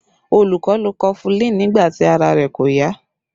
Olu lo kofulin nígbà tí ara rẹ̀ kò yá